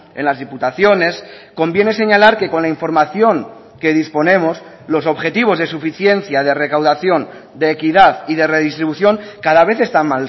en las diputaciones conviene señalar que con la información que disponemos los objetivos de suficiencia de recaudación de equidad y de redistribución cada vez están